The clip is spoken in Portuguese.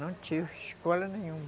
Não tive escola nenhuma.